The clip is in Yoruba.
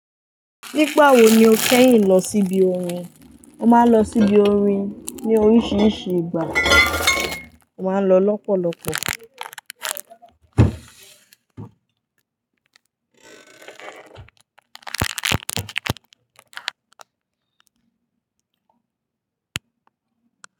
Nígbà wo ni o kẹ́yín lọ sí ibi orin? Mo máa ń lọ sí ibi orin ní oríṣiríṣi ìgbà, mo máa ń lọ lọ́pọ̀lọpọ̀.